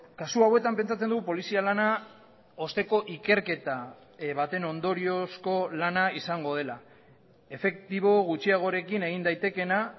kasu hauetan pentsatzen dugu polizia lana osteko ikerketa baten ondoriozko lana izango dela efektibo gutxiagorekin egin daitekeena